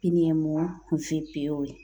VPO ye